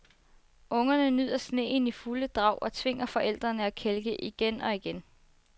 Ungerne nyder sneen i fulde drag og tvinger forældrene at kælke igen og igen.